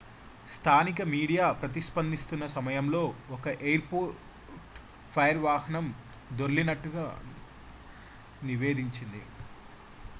స్థానిక మీడియా ప్రతిస్పందిస్తున్నసమయంలో ఒక ఎయిర్ పోర్ట్ ఫైర్ వాహనం దొర్లినట్లు గా నివేదించింది